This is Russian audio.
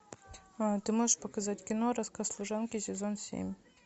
ты можешь показать кино рассказ служанки сезон семь